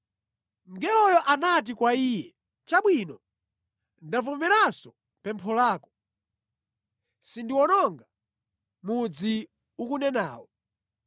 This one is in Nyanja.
Mngeloyo anati kwa iye, “Chabwino, ndavomeranso pempho lako, sindiwononga mudzi ukunenawo.